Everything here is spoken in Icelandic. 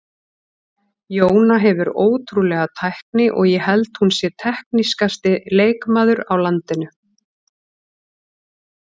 Jóna hefur ótrúlega tækni og ég held hún sé teknískasti leikmaður á landinu.